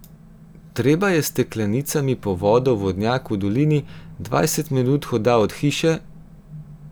Treba je s steklenicami po vodo v vodnjak v dolini, dvajset minut hoda od hiše ...